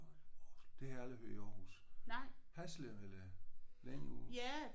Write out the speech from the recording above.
Det har jeg aldrig hørt i Aarhus. Hasle eller længere ude?